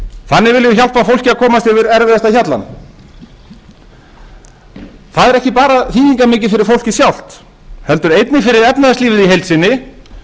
fólki að komast yfir erfiðasta hjallann það er ekki bara þýðingarmikið fyrir fólkið sjálft heldur einnig fyrir efnahagslífið í heild sinni